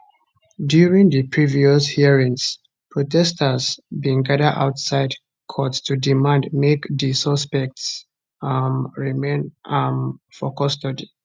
during di previous hearings protesters bin gada outside court to demand make di suspects um remain um for custody